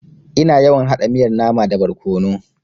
Ina yawan haɗa miyar nama da barkono.